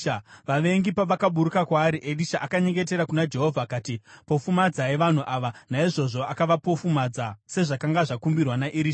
Vavengi pavakaburuka kwaari, Erisha akanyengetera kuna Jehovha akati, “Pofumadzai vanhu ava.” Naizvozvo akavapofumadza sezvakanga zvakumbirwa naErisha.